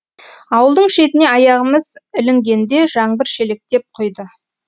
ауылдың шетіне аяғымыз ілінгенде жаңбыр шелектеп құйды